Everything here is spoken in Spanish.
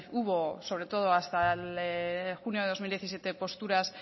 hubo sobre todo hasta junio de dos mil diecisiete posturas